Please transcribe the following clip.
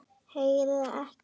Heyrir ekki.